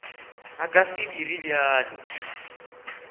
a ka se dire bjalo